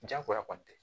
Jagoya kɔni tɛ